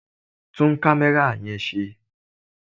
Tún kámẹ́rà yẹn ṣe!